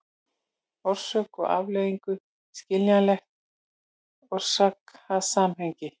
orsök og afleiðingu, skiljanlegt orsakasamhengi.